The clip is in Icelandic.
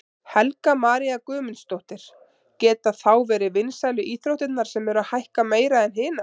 Helga María Guðmundsdóttir: Geta þá verið vinsælu íþróttirnar sem eru að hækka meira en hinar?